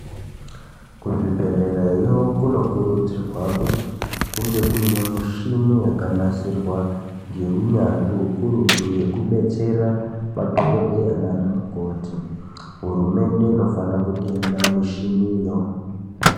Kuzvibhedhlerayo kunokurudzirwa kuti kunge kune mishini yakanasirwa ngeunyanzvi ukurutu yokubetsera madhokoteya nana mukoti. Hurumende inofanira kutenga mishiniyo.